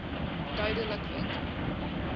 duidelikwenke